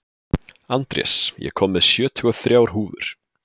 Andrés, ég kom með sjötíu og þrjár húfur!